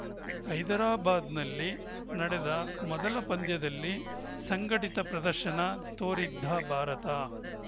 ಹೈದರಾಬಾದ್‌ನಲ್ಲಿ ನಡೆದ ಮೊದಲ ಪಂದ್ಯದಲ್ಲಿ ಸಂಘಟಿತ ಪ್ರದರ್ಶನ ತೋರಿದ್ದ ಭಾರತ